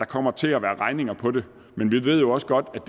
kommer til at være regninger på det men vi ved jo også godt at